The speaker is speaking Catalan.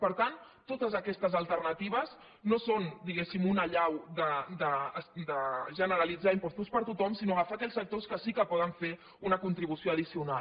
per tant totes aquestes alternatives no són diguéssim un allau de generalitzar impostos per a tothom sinó agafar aquells sectors que sí que poden fer una contribució addicional